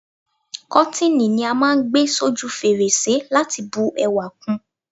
Kọ́tíni ni á máà ń gbé s'óju fèrèsé láti bu ẹwà kun